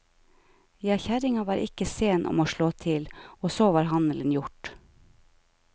Ja, kjerringa var ikke sen om å slå til, og så var handelen gjort.